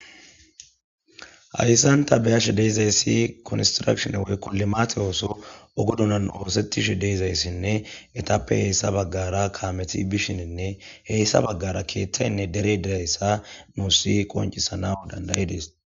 Hayssanta beyashe deezayssi konsrashone woykko limaate ooso ogodunan oosettishe deezayssinne etappe heyssa baggara kaameti bishininne heyssa baggara keeththaynne dere dirayssa muussi qoncisana dandayides.